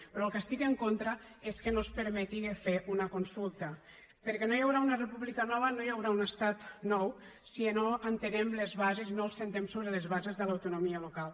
però del que estic en contra és que no es permeti fer una consulta perquè no hi haurà una república nova no hi haurà un estat nou si no entenem les bases no ens assentem sobre les bases de l’autonomia local